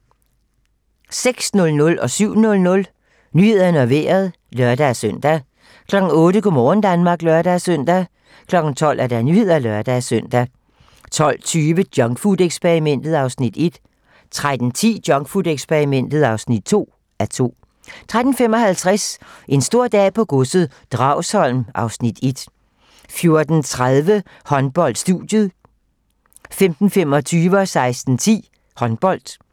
06:00: Nyhederne og Vejret (lør-søn) 07:00: Nyhederne og Vejret (lør-søn) 08:00: Go' morgen Danmark (lør-søn) 12:00: Nyhederne (lør-søn) 12:20: Junkfood-eksperimentet (1:2) 13:10: Junkfood-eksperimentet (2:2) 13:55: En stor dag på godset - Dragsholm (Afs. 1) 14:30: Håndbold: Studiet 15:25: Håndbold 16:10: Håndbold